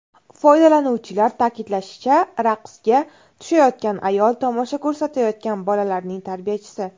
Foydalanuvchilar ta’kidlashicha, raqsga tushayotgan ayol tomosha ko‘rsatayotgan bolalarning tarbiyachisi.